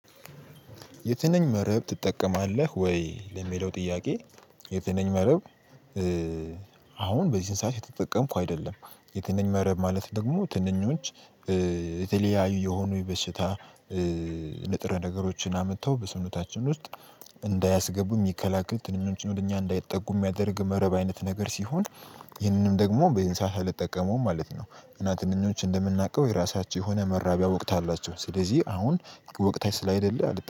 የትንኝ መረብ ትጠቀማለህ ወይ ለሚለው ጥያቄ? የትንኝ መረብ። አሁን በዚህ ሰዓት እየተጠቀምኩ አይደለም የትንኝ መረብ ማለት ደግሞ ትንኞች። የተለያዩ የሆኑ የበሽታ ንጥረ ነገሮችን አምተው በሰውነታችን ውስጥ እንዳያስገቡ የሚከላከል ትንኞችን ወደ እኛ እንዳይጠጉ የሚያደርግ መረብ አይነት ነገር ሲሆን። ይህንንም ደግሞ በዚህ ሰዓት አልጠቀመውም ማለት ነው። እና ትንኞች እንደምናውቀው የራሳቸው የሆነ መራቢያ ወቅት አላቸው ስለዚህ አሁን ወቅታቸው ስላላደለ